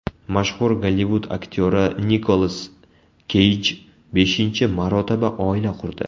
Mashhur Gollivud aktyori Nikolas Keyj beshinchi marotaba oila qurdi.